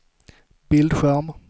bildskärm